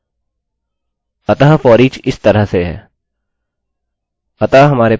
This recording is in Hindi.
अतः foreach इस तरह से है